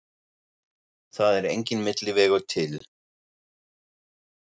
Það er enginn milli vegur til.